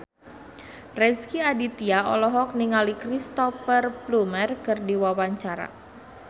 Rezky Aditya olohok ningali Cristhoper Plumer keur diwawancara